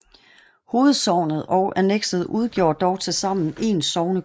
Hovedsognet og annekset udgjorde dog tilsammen én sognekommune